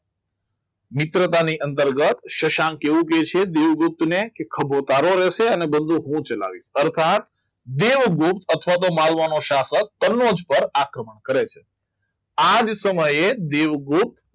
મિત્રતાની અંતર્ગત શશાંક એવું કહે છે દેવગુપ્ત ને કે ખભો તારો રહેશે બંદૂક હું ચલાવીશ અર્થાત દેવગુપ્ત અથવા તો માલવાનો સ્થાપક કનોજ પર આક્રમણ કરે છે આ જ સમયે દેવગુપ્ત